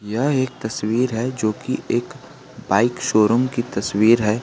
यह एक तस्वीर है जो की एक बाइक शोरूम की तस्वीर है।